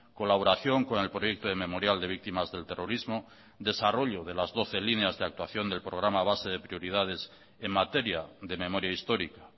colaboración con el proyecto de memorial de víctimas del terrorismo desarrollo de las doce líneas de actuación del programa base de prioridades en materia de memoria histórica